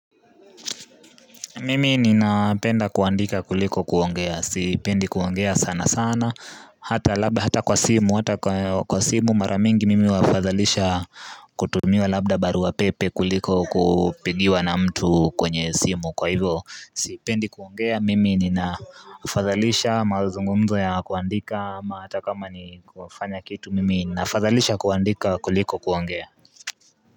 Mimi ninapenda kuandika kuliko kuongea siipendi kuongea sana sana hata labda hata kwa simu hata kwa simu mara mingi mimi hafadhalisha kutumiwa labda barua pepe kuliko kupigiwa na mtu kwenye simu kwa hivyo sipendi kuongea mimi ninafadhalisha mazungumzo ya kuandika ama hata kama ni kufanya kitu mimi nafadhalisha kuandika kuliko kuongea.